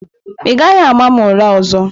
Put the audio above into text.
Ị gaghị ama m ụra ọzọ!